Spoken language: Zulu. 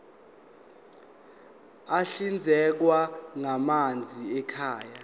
ahlinzekwa ngamanzi ekhaya